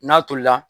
N'a tolila